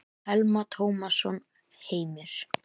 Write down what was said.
Telma Tómasson: Heimir?